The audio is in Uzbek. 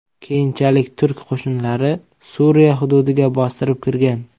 Keyinchalik turk qo‘shinlari Suriya hududiga bostirib kirgan .